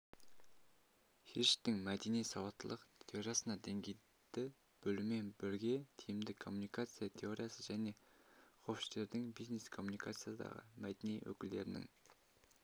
хирштің мәдени сауаттылық теориясында деңгейді бөлумен бірге тиімді коммуникация теориясы және хофштедтің бизнес-коммуникациядағы мәдениет өкілдерінің